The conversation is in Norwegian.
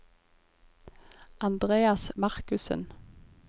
Andreas Markussen